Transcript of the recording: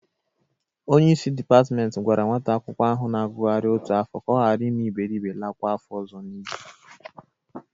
Onyeisi dịpatmenti gwara nwata akwụkwọ ahụ na-agụgharị otu afọ ka ọ ghara ime iberibe lakwa afọ ọzọ n'iyi.